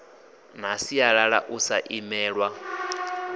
na sialala u sa imelwa